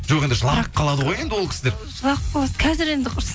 жоқ енді жылап қалады ғой енді ол кісілер жылап қалады қазір енді құрсын